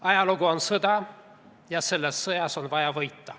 "Ajalugu on sõda ja selles sõjas on vaja võita.